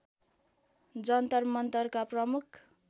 जन्तर मन्तरका प्रमुख